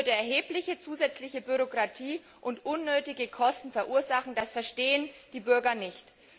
Sie würde erhebliche zusätzliche Bürokratie und unnötige Kosten verursachen das verstehen die Bürger nicht.